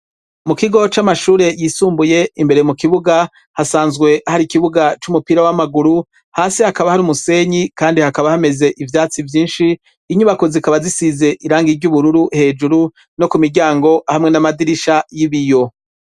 Mu kigo c'amashure yisumbuye imbere mu kibuga hasanzwe hari ikibuga c'umupira w'amaguru, hasi hakaba hari umusenyi kandi hakaba hameze ivyatsi vyinshi inyubako zikaba zisize irangi ry'ubururu hejuru no ku miryango hamwe n'amadirisha n'ibiyo.